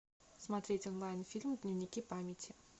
смотреть онлайн фильм дневники памяти